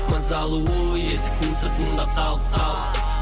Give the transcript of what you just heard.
мысалы ой есіктің сыртында қалып қап